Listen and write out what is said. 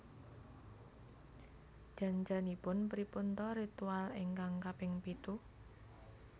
Jan janipun pripun ta ritual ingkang kaping pitu